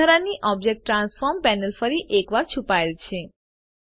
વધારાની object transform panel ફરી એકવાર છુપાયેલ છે